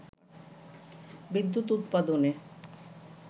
বিদ্যুৎ উৎপাদনে